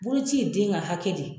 Boloci ye den ka hakɛ de ye.